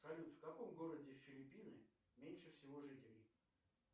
салют в каком городе филиппины меньше всего жителей